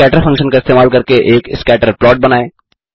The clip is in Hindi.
scatter फंक्शन का इस्तेमाल करके एक स्कैटर प्लॉट बनाएँ